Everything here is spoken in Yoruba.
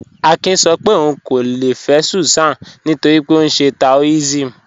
Àkín sọ́ pé óun kò lè fẹ́ Súsán nítorí pé ọ nṣẹ́ Taòism..